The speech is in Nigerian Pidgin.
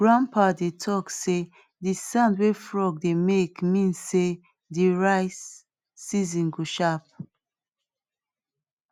grandpa dey talk sey de sound wey frog dey make mean sey dey rice season go sharp